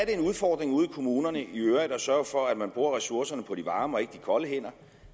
en udfordring ude i kommunerne i øvrigt at sørge for at man bruger ressourcerne på de varme og ikke de kolde hænder